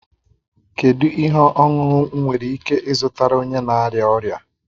Kedu ihe ọṅụṅụ m nwere ike ịzụtara onye na arịa ọrịa?